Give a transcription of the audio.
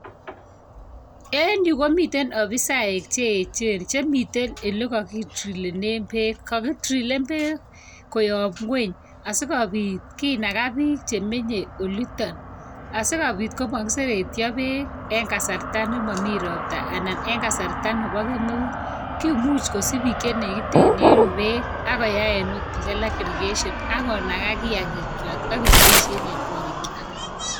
En yuh komiten ofisaek che echen chemiten ole kokidrillenen bek. Kokidrilen beek, koyoob ngwony asikobiit kinagaa bik chemenye olitok. Asikobiit komokiser etyoo beek en kasartaa nemomi roptaa anan en kasarta neboo kemeut. Kimuch kosich bik chenegiten en yu beek, ak koyai irrigation ak konagaa kit agetugul ak keboishien en korikyok